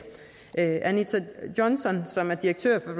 anita johnson som er direktør for